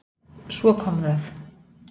Svo kom það.